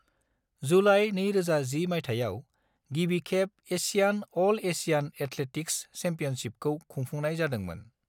July 2010 मयथाइयाव, गिबिखेब Asian अल एसियान एथलेटिक्स चैम्पियनशिपखौ खुंफुंनाय जादोंमोन।